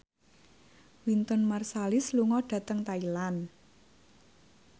Wynton Marsalis lunga dhateng Thailand